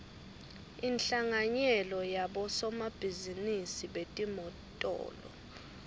inhlanganyela yabosomabhizinisi betimotolo